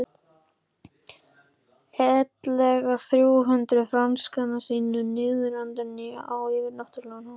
ellegar þrjú hundruð frankana sína endurnýjaða á yfirnáttúrlegan hátt.